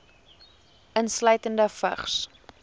insluitende vigs